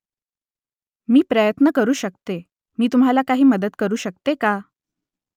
मी प्रयत्न करू शकते . मी तुम्हाला काही मदत करू शकते का ?